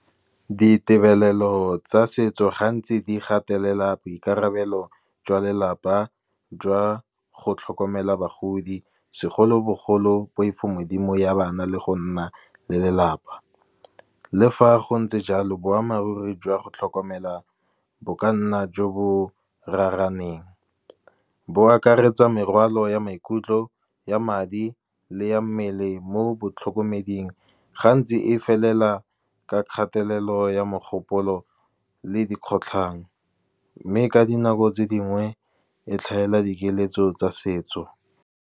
Ditebelelo tsa setso gantsi di gatelela boikarabelo jwa lelapa jwa go tlhokomela bagodi, segolobogolo poifomodimo ya bana le go nna le lelapa. Le fa go ntse jalo boammaaruri jwa go tlhokomela bo ka nna jo bo raraneng, bo akaretsa morwalo ya maikutlo ya madi le ya mmele mo botlhokomeding. Gantsi e felela ka kgatelelo ya mogopolo le dikgotlhang, mme ka dinako tse dingwe e tlhaela dikeletso tsa setso.